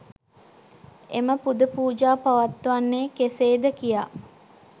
එම පුද පූජා පවත්වන්නේ කෙසේද කියා